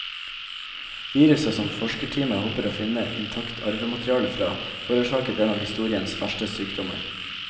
Viruset som forskerteamet håper å finne intakt arvemateriale fra, forårsaket en av historiens verste sykdommer.